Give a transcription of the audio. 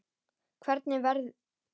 Hvernig verður?